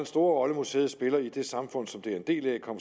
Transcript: store rolle museet spiller i det samfund som det er en del af kom